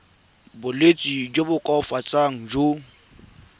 bolwetsi jo bo koafatsang jo